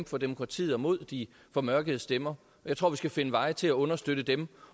for demokratiet og mod de formørkede stemmer jeg tror vi skal finde veje til at understøtte dem